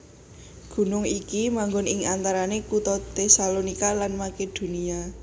Gunung iki manggon ing antarané kutha Tesalonika lan Makedonia